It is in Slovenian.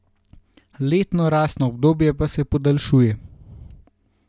Letno rastno obdobje pa se podaljšuje.